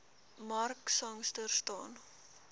mark sangster staan